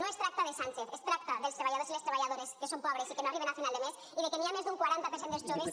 no es tracta de sánchez es tracta dels treballadors i les treballadores que són pobres i que no arriben a final de mes i que hi ha més d’un quaranta per cent dels joves